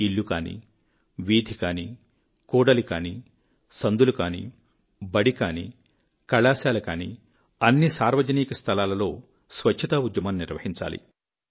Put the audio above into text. ఇల్లు కానీ వీధికానీ కూడలి కానీ సందులు గానీ బడి కానీ కళాశాల కానీ అన్ని సార్వజనిక స్థలాలలో స్వచ్ఛతా ఉద్యమం నిర్వహించాలి